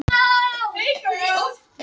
Það er auðveldara að jóna heitt gas en kalt.